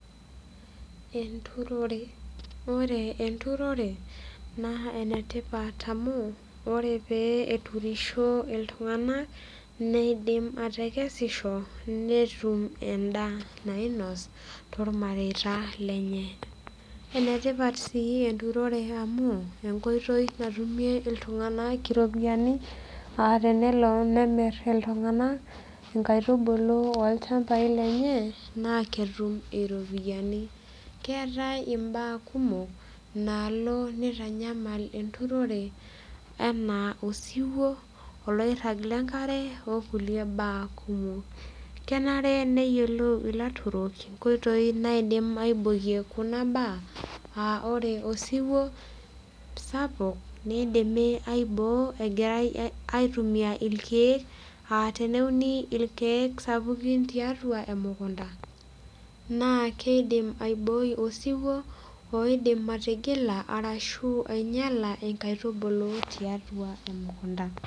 Enturore ore enturore naa enetipat amu ore pee eturisho iltung'anak neidim atekesisho netum endaa nainos tormareita lenye enetipat sii enturore amu enkoitoi natumie iltung'anak iropiyiani uh tenelo nemirr iltung'anak inkaitubulu olchambai lenye naa ketum iropiyiani keetae imbaa kumok nalo nitanyamal enturore anaa osiwuo oloirrag lenkare okulie baa kumok kenare neyiolou ilaturok inkoitoi naidim aibokie kuna baa uh ore osiwuo sapuk neidimi aiboo egirae aitumia ilkeek aa teneuni ilkeek sapukin tiatua emukunta naa keidim aiboi osiwuo oidim atigila arashu ainyiala enkaitubulu tiatua emukunta.